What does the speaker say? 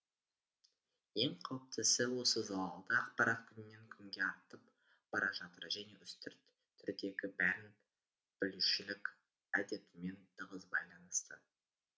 ең қауіптісі осы залалды ақпарат күннен күнге артып бара жатыр және үстірт түрдегі бәрін білушілік әдетімен тығыз байланысты